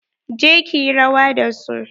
Je ki yi rawa da su.